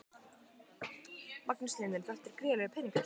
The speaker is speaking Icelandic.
Magnús Hlynur: Þetta er gríðarlegur peningur?